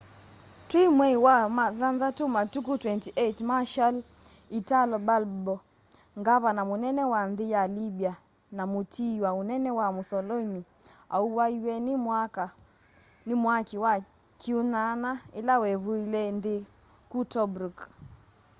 twi mwei wa wathanthatũ matuku 28 marshall italo balbo ngavana mũnene wa nthi ya libya na mũtiiwa ũnene wa mussolini auwaiwe ni mwaki wa kiunyanya ila wevuilaa nthi kuu tobruk